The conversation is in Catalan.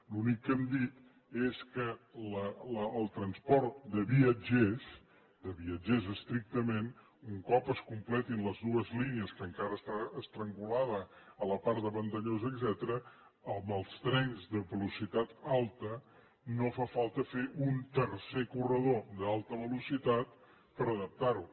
l’únic que hem dit és que el transport de viatgers de viatgers estrictament un cop es completin les dues línies que encara estan estrangulades a la part de vandellós etcètera amb els trens de velocitat alta no fa falta fer un tercer corredor d’alta velocitat per adaptar ho